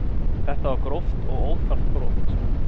Þetta var gróft og óþarft brot